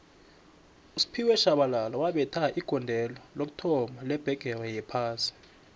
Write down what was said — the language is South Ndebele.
usphiwe shabalala wabetha igondelo lokuthoma lebhigixi yophasi